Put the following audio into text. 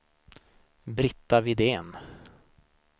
Britta Widén